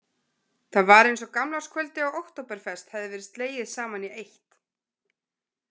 Það var eins og gamlárskvöldi og októberfest hefði verið slegið saman í eitt.